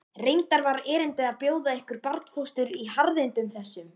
Reyndar var erindið að bjóða ykkur barnfóstur í harðindum þessum.